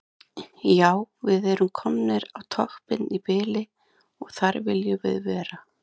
Já við erum komnir á toppinn í bili og þar viljum við vera.